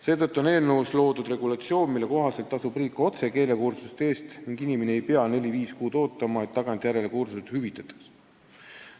Seetõttu on eelnõus toodud regulatsioon, mille kohaselt tasub riik keelekursuste eest otse: inimene ei pea neli-viis kuud ootama, et kursused tagantjärele hüvitataks.